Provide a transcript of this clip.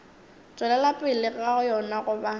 tšwelela pele ga yona goba